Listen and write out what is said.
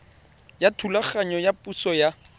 ya thulaganyo ya thuso ya